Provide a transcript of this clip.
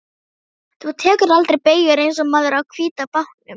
Þú tekur aldrei beygjur eins og maðurinn á hvíta bátnum.